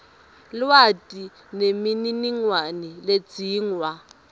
lwati nemininingwane ledzingwa